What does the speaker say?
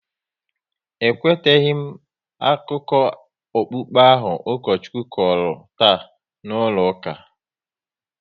E kwetaghi m akụkọ okpukpe ahụ Ukochukwu kọrọ taa n'ụlọ ụka